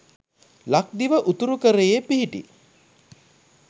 ලක්දිව උතුරුකරයේ පිහිටි